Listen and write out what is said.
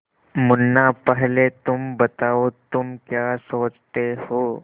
मुन्ना पहले तुम बताओ तुम क्या सोचते हो